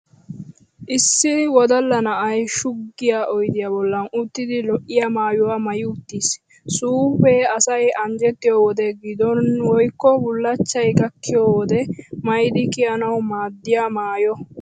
Issi wodalla na'ay shuggiya oydiyaa bollan uttidi lo'iya maayyuwa maayi uttis. Suufee asay anjjettiyo wode giddon woykko bullachchay gakkiyo wode maayidi kiyanawu maaddiya maayo.